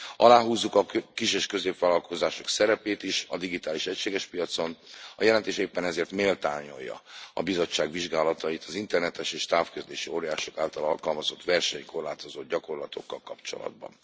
Aláhúzzuk a kis és középvállalkozások szerepét is a digitális egységes piacon, a jelentés éppen ezért méltányolja a Bizottság vizsgálatait az internetes és távközlési óriások által alkalmazott versenykorlátozó gyakorlatokkal kapcsolatban.